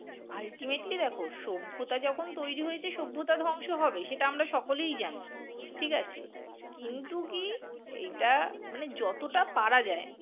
ultimately দেখো সভ্যতা যখন তৈরী হয়েছে সভ্যতা ধ্বংস হবেই সেটা আমরা সকলেই জানি, ঠিক আছে? কিন্তু কি এটা মানে যতটা পারা যায়